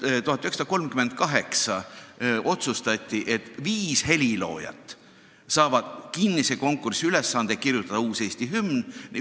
1938 otsustati, et viis heliloojat saavad osaleda kinnisel konkursil, ülesandega kirjutada uus Eesti hümn.